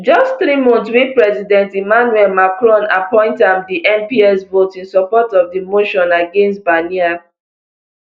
just three months wey president emmanuel macron appoint am di mps vote in support of di motion against barnier